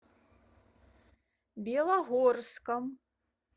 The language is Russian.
белогорском